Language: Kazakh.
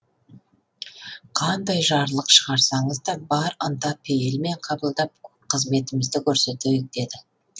қандай жарлық шығарсаңыз да бар ынта пейілмен қабылдап қызметімізді көрсетейік деді